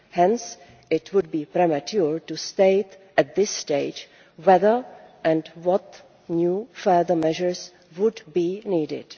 Hence, it would be premature to state at this stage whether and what new further measures would be needed.